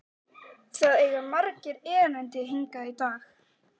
Það eiga margir erindi hingað í dag.